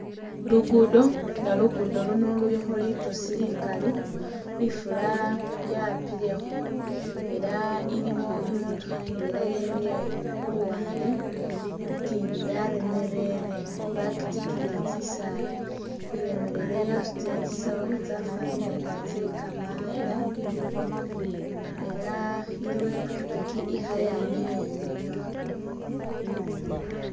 Lugudo, nga lugudo luno lulikho litosi likali, ifula yapilekho ela iliwo i'motokha ndwela yemile khu luwande, ikindi yaremerere bakitikiyile tsisaala. Iremerere yasutile tsisawu tsyafwanile nga tsye kamaanda ela iliwo i'pikipiki ikhayamila inyuma.